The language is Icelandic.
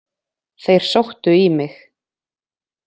Þeir sóttu í mig.